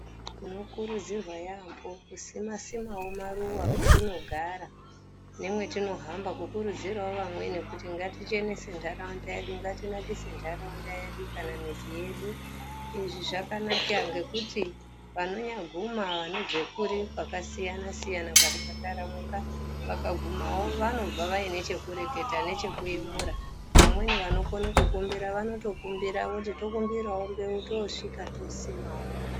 Tinokurudzirwa yambo kusima-simawo maruwa kwetinogara, nemwetinohamba kukurudzirawo vamweni kuti ngatichenese ndaraunda yedu, ngatinakise ndaraunda yedu, kana midzi yedu,I,izvi zvakanaka ngekuti vanonyaguma vanobve kuri kwakasiyana-siyana ,kwakaparamuka vakagumawo vanobva vane chekureketa nechekuyemura, vamweni vanokona kukumbira vanotokumbira, voti tokumbirawo mbewu tosvika tosimawo.